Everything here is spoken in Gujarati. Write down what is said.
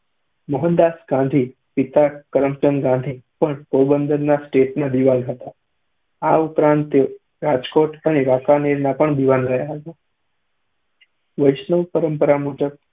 મોહનદાસ ગાંધીના પિતા કરમચંદ ગાંધી પણ પોરબંદર સ્ટેટના દીવાન હતા, આ ઉપરાંત તેઓ રાજકોટ અને વાંકાનેરના પણ દીવાન રહ્યા હતા. વૈષ્ણવ પરંપરા મુજબ